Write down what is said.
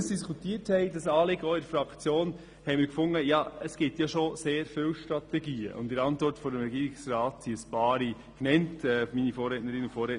Bei der Diskussion dieses Anliegens in unserer Fraktion fanden wir, dass es doch schon sehr viele Strategien gebe, und die Regierungsantwort benennt auch einige.